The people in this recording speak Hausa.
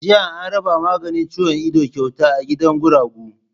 Jiya an raba maganin ciwon ido kyauta a gidan guragu.